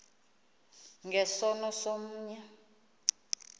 nge sono somnye